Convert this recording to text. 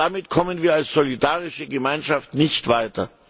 Damit kommen wir als solidarische Gemeinschaft nicht weiter.